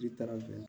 Jiri taara jɛn